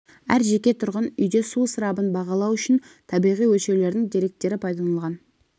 әр жеке тұрғын үйде су ысырабын бағалау үшін табиғи өлшеулердің деректері пайдаланылған